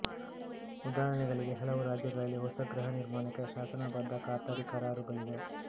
ಉದಾಹರಣೆಗೆ ಹಲವು ರಾಜ್ಯಗಳಲ್ಲಿ ಹೊಸ ಗೃಹ ನಿರ್ಮಾಣಕ್ಕೆ ಶಾಸನಬದ್ಧ ಖಾತರಿ ಕರಾರುಗಳಿವೆ